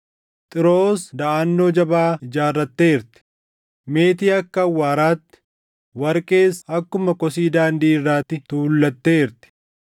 Xiiroos daʼannoo jabaa ijaarratteerti; meetii akka awwaaraatti, warqees akkuma kosii daandii irraatti tuullateerti.